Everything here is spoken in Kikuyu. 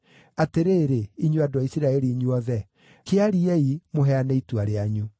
Atĩrĩrĩ, inyuĩ andũ a Isiraeli inyuothe, kĩariei, mũheane itua rĩanyu.”